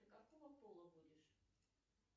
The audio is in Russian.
ты какого пола будешь